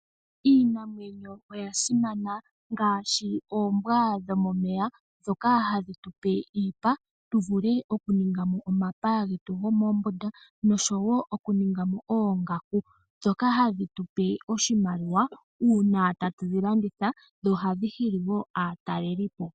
Iinamwneyo oya simana ngaashi oombwa dhomomeya dhoka hadhi tupe iipa tuvule okuningamo omapaya getu gomombunda nosho wo okuninga oongaku dhoka hahdi tupe oshimaliwa uuna tatu dhi landitha na ohadhi hili wo aataleli po..